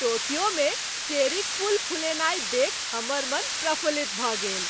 Tokyo मे cherry क फूल फुलेनाइ देखि हमर मन प्रफुल्लित भऽ गेल।